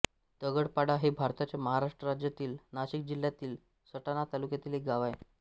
दगडपाडा हे भारताच्या महाराष्ट्र राज्यातील नाशिक जिल्ह्यातील सटाणा तालुक्यातील एक गाव आहे